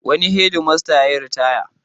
Wani hedmasta yayiritaya.